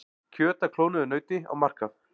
Kjöt af klónuðu nauti á markað